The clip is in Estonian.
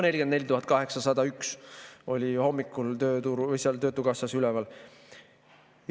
44 801 oli hommikul töötukassas üleval.